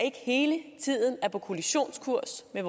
ikke hele tiden er på kollisionskurs med